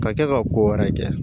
Ka kɛ ka ko wɛrɛ kɛ